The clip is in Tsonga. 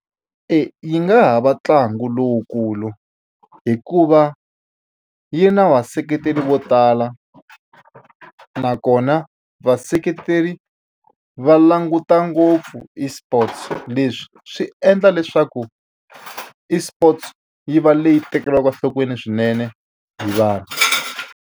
E yi nga ha va ntlangu lowukulu hikuva yi na vaseketeli vo tala nakona vaseketeri va languta ngopfu eSports leswi swi endla leswaku eSports yi va leyi tekeriwaka enhlokweni swinene hi vanhu.